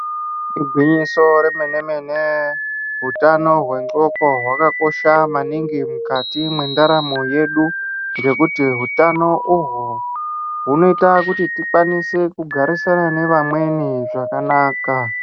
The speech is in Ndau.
Igwinyiso remene-mene, hutano hwendxondo hwakakosha maningi mukati mwendaramo yedu ngekuti utano uhwu hwunoite kuti tikwanise kugarisana nevamweni zvakanaka.